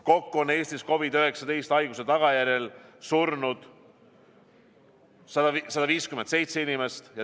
Kokku on Eestis COVID-19 haiguse tagajärjel surnud 157 inimest.